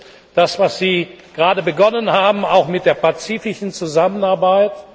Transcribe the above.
Das ist das, was Sie gerade begonnen haben, auch mit der pazifischen Zusammenarbeit.